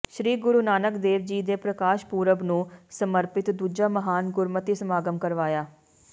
ਸ਼੍ਰੀ ਗੁਰੂ ਨਾਨਕ ਦੇਵ ਜੀ ਦੇ ਪ੍ਰਕਾਸ਼ ਪੁਰਬ ਨੂੰ ਸਮਰਪਿਤ ਦੂਜਾ ਮਹਾਨ ਗੁਰਮਤਿ ਸਮਾਗਮ ਕਰਵਾਇਆ